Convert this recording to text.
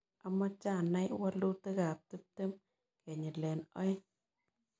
Amache anai walutikap tiptem kenyilen oeng'